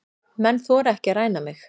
Menn þora ekki að ræna mig.